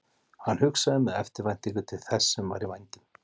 Hann hugsaði með eftirvæntingu til þess sem var í vændum.